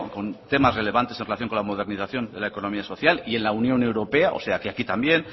con temas relevantes en relación con la modernización de la economía social y en la unión europea o sea que aquí también